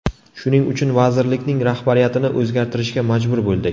Shuning uchun vazirlikning rahbariyatini o‘zgartirishga majbur bo‘ldik.